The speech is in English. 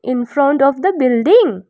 In front of the building.